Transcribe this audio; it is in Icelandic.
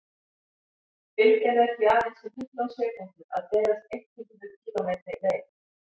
bylgjan er því aðeins um fimmtán sekúndur að berast eitt hundruð kílómetri leið